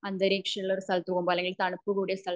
അന്തരീക്ഷം ഉള്ള സ്ഥലത്തു പോവുമ്പോ